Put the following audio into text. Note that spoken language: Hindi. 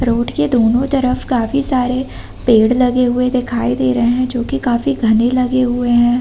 रोड के दोनों तरफ काफ़ी सारे पेड़ लगे हुए दिखायी दे रहे हैं जो कि काफ़ी घने लगे हुए हैं।